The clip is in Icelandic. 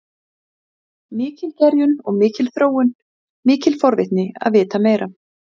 Fundað var í morgun.